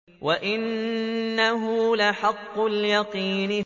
وَإِنَّهُ لَحَقُّ الْيَقِينِ